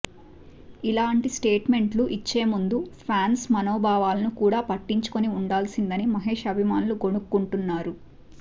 ఇలాంటి స్టేట్మెంట్లు ఇచ్చేముందు ఫాన్స్ మనోభావాలని కూడా పట్టించుకుని వుండాల్సిందని మహేష్ అభిమానులు గొణుక్కుంటున్నారు